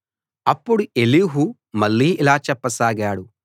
అప్పుడు ఎలీహు మళ్ళీ ఇలా చెప్పసాగాడు